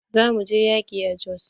Za mu je yaƙi a Jos.